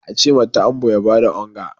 a ce ta'ambo ya ba da onga!